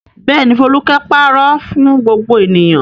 Bẹ́ẹ̀ ni, Folúkẹ́ pàrọ̀ fún gbogbo ènìyàn.